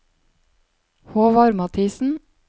Håvard Mathisen